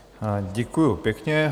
Děkuju pěkně.